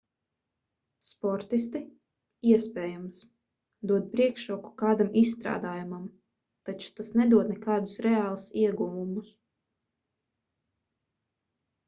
sportisti iespējams dod priekšroku kādam izstrādājumam taču tas nedod nekādus reālus ieguvumus